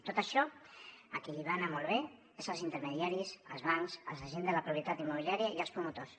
tot això a qui li va anar molt bé és als intermediaris als bancs als agents de la propietat immobiliària i als promotors